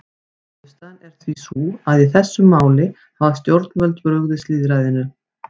Niðurstaðan er því sú að í þessum máli hafa stjórnvöld brugðist lýðræðinu.